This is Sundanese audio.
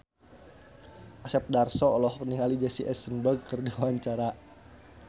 Asep Darso olohok ningali Jesse Eisenberg keur diwawancara